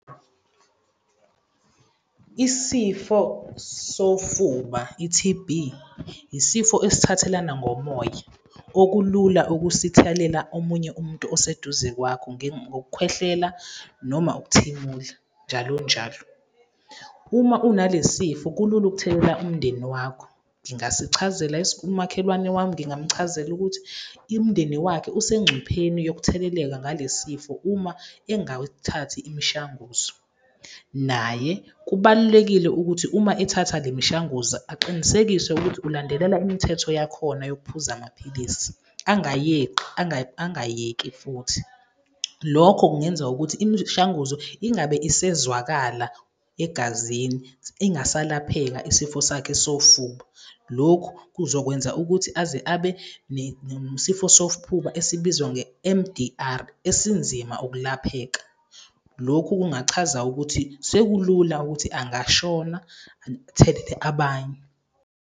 Isifo sofuba, i-T_B, isifo esithathelana ngomoya, okulula ukusithelela omunye umuntu oseduze kwakho, ngokukhwehlela noma ukuthimula njalo njalo. Uma una le sifo kulula ukuthelela umndeni wakho. Umakhelwane wami ngingamchazela ukuthi imindeni wakhe usengcupheni yokutheleleka ngale sifo uma engawuthathi imishanguzo. Naye kubalulekile ukuthi uma ethatha le mishanguzo aqinisekise ukuthi ulandelela imithetho yakhona yokuphuza amaphilisi, angayeqi angayeki futhi. Lokho kungenza ukuthi imishanguzo ingabe isezwakala egazini, ingasalapheka isifo sakhe sofuba. Lokhu kuzokwenza ukuthi aze abe nesifo sofuba esibizwa nge-M_D_R esinzima ukulapheka. Lokhu kungachaza ukuthi sekulula ukuthi angashona athelele abanye.